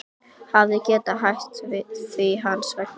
Hafi getað hætt því hans vegna.